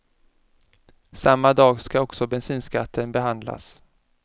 Samma dag ska också bensinskatten behandlas.